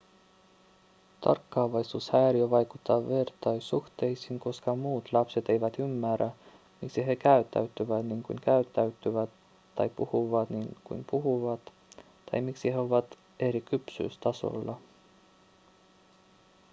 tarkkaavaisuushäiriö vaikuttaa vertaissuhteisiin koska muut lapset eivät ymmärrä miksi he käyttäytyvät niin kuin käyttäytyvät tai puhuvat niin kuin puhuvat tai miksi he ovat eri kypsyystasolla